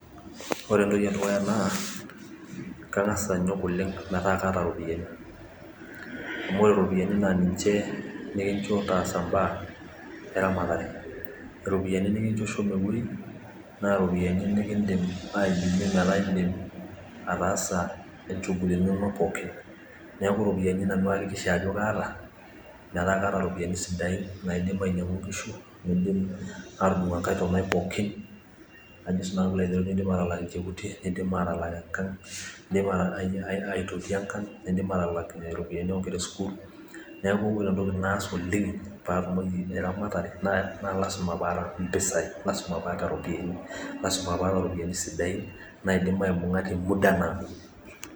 ore entoki edukuya naa kang'as anyok oleng metaa kaata iropiyiani amu ore iropiyiani naa niche nikicho taasa baa eramatare, iropiyiani nikicho shomo eweji, naa iropiyiani nikidim aidimie metaa idim ataasa ichugulini inonok pooki, neeku iropiyiani nanu ayakikisha ajo kaata pee as ichungulini ainei pooki, naidim anyang'u ingishu , nalak ilchekuti, nidim aitoti engang' , nidim atalak ingera esukul, neeku ore entoki naas oleng paatumoki eramatare naa ilasima paata iropiyiani siain naidim amung'a temuda naado.